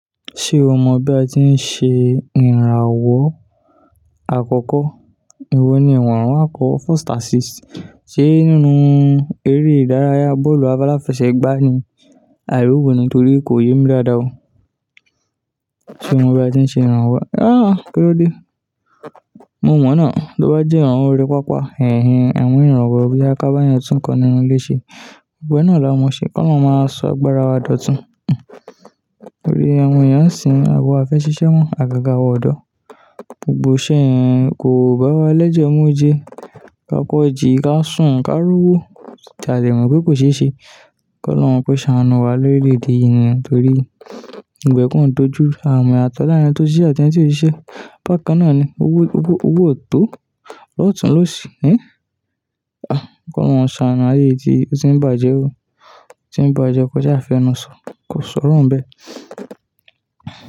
Ṣé o mọ bí a ti ń ṣe ìrànwọ́ àkọ́kọ́? Ewo ni ìwọ̀ran àkọ́ first assist. Ṣé nínú eré ìdárayá bọ́ọ̀lù aláfẹsẹ̀gbá ni? Àì ró wo nítorí kò yé mi dáadáa o. Sé mo mọ bí a tí ń ṣe ìrànwọ́? Rárá, kíló dé? Mo mọ̀ náà. To bá jẹ́ awọn orí pápá, hẹhẹ, ẹ̀wọ̀n ìrànwọ́ bí ya ká bà yan tún kan nínú ilé ṣe. Gbogbo ẹ́ náà la mọ ṣe, ọlọhun máa sọ agbára wa dọ̀tun hmm. Torí awọn èèyan n sìń àwa o ẹ́ ṣiṣẹ́ mọ́, àgàgà awa ọ̀dọ́. Gbogbo iṣẹ́ yẹn kò bá wa lẹ́jẹ̀ mu ó je. Ka kọ́ jìí ká sùn ká rowó, tà dẹ mọ̀ pé kò ṣe é ṣe. Kọ lọhun kó ṣàánù wá lórí ilẹ ede yín nì torí gbogbo ẹ kań dojú ru, aa mọ yatọ́ laarin ẹni tó ṣíṣẹ atẹ́ni tí ó ṣiṣẹ́. Bakan náà ni owó, owó, owó o tó lọ́tùn-ún ló ṣì í. Kọ lọhun ṣàánù ayé yi ti, o tí ń bàjẹ́ o. Tí ń bàjẹ́, kọjá afẹ́nu sọ, kó sọrọ̀ ń bẹ.